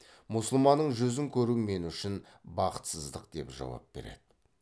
мұсылманның жүзін көру мен үшін бақсытсыздық деп жауап береді